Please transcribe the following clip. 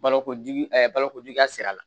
Balokojugu balokojuguya sira la